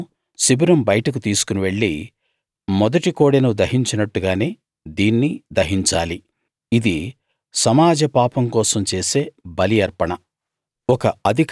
ఆ కోడెను శిబిరం బయటకు తీసుకుని వెళ్ళి మొదటి కోడెను దహించినట్టుగానే దీన్నీ దహించాలి ఇది సమాజ పాపం కోసం చేసే బలి అర్పణ